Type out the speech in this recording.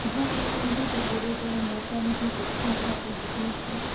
વૃધ્ધા કાંઇ સમજે તે પુર્વે તેણે મરચાની ભૂંકી આંખમાં છાંટી દીધી હતી